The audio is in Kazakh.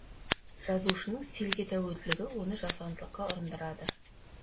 жазушының стильге тәуелділігі оны жасандылыққа ұрындырады